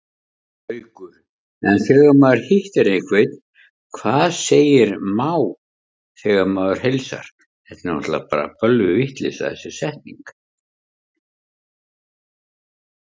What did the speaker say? Haukur: En þegar maður hittir einhvern, hvað segir má þegar maður heilsar?